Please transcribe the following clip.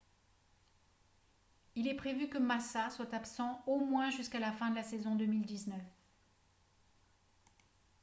il est prévu que massa soit absent au moins jusqu'à la fin de la saison 2019